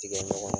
Tigɛ ɲɔgɔn